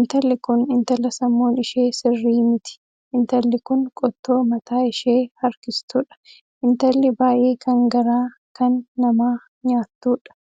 Intalli kun intala sammuun ishee sirrii miti, intalli kun qottoo mataa ishee harkistuudha .intalli baay'ee kan garaa kan namaa nyaattuudha.